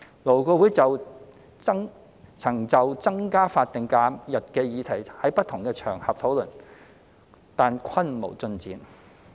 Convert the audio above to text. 勞顧會曾就增加法定假日的議題在不同場合討論，但均無進展。